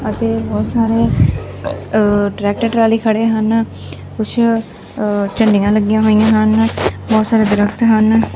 ਅਤੇ ਬਹੁਤ ਸਾਰੇ ਟਰੈਕਟਰ ਟਰਾਲੀ ਖੜੇ ਹਨ ਕੁਛ ਝੰਡੀਆਂ ਲੱਗੀਆਂ ਹੋਈਆਂ ਹਨ ਬਹੁਤ ਸਾਰੇ ਦਰਖਤ ਹਨ।